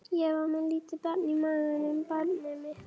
Ég var með lítið barn í maganum, barnið mitt.